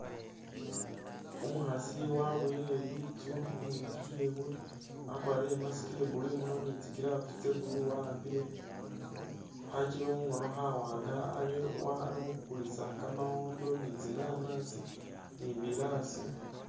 Umukhaasi waboyile litsune lyewe wakwarile i'mask iya'blue imunywa ni tsi'gloves tsa'blue wa'ambile khachebe mukhono khawanga ali wa ali khukulisa kamawondo, ni'tsinanasi ni biraasi